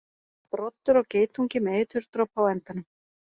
Broddur á geitungi með eiturdropa á endanum.